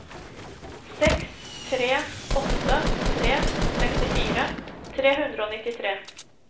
seks tre åtte tre sekstifire tre hundre og nittitre